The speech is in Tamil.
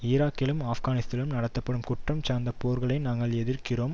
ஈராக்கிலும் ஆப்கானிஸ்தானிலும் நடத்தப்படும் குற்றம் சார்ந்த போர்களை நாங்கள் எதிர்க்கிறோம்